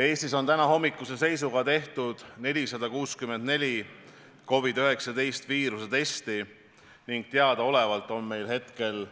Eestis on tänahommikuse seisuga tehtud 464 COVID-19 viiruse testi ning teadaolevalt on meil praegu